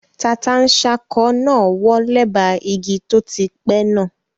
Tata-n-sánkọ náà wọ́ lẹ́bàá igi tó ti pẹ́ náà